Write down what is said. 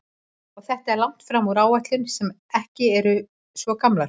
Og þetta er langt fram úr áætlunum sem ekki eru svo gamlar?